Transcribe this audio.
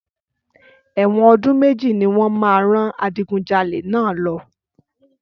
Ẹ̀wọ̀n ọdún méjì ní wọ́n máa rán adigunjalè náà lọ.